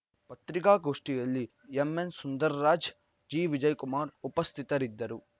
ಪತ್ರಿಕಾಗೋಷ್ಠಿಯಲ್ಲಿ ಎಂಎನ್‌ಸುಂದರ್‌ರಾಜ್‌ ಜಿವಿಜಯ್‌ಕುಮಾರ್‌ ಉಪಸ್ಥಿತರಿದ್ದರು